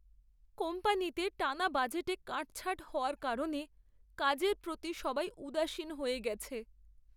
কোম্পানিতে টানা বাজেটে কাটছাঁট হওয়ার কারণে কাজের প্রতি সবাই উদাসীন হয়ে গেছে।